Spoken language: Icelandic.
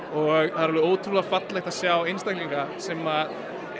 er ótrúlega fallegt að sjá einstaklinga sem